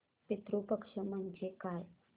पितृ पक्ष म्हणजे काय